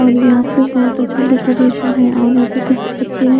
और यहाँ पे बहोत अच्छा डेकोरेशन हे और यहाँ पे कुछ पत्ते हैं।